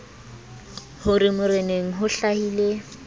ho re moreneng ho hlahile